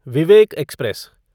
Vivek express